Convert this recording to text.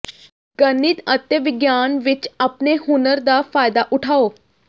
ਗਣਿਤ ਅਤੇ ਵਿਗਿਆਨ ਵਿੱਚ ਆਪਣੇ ਹੁਨਰ ਦਾ ਫਾਇਦਾ ਉਠਾਓ